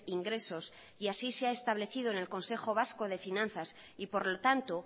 ingresos y así se ha establecido en el consejo vasco de finanzas y por lo tanto